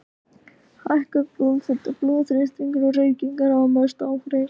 Hækkuð blóðfita, blóðþrýstingur og reykingar hafa mest áhrif.